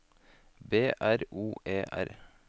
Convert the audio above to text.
B R O E R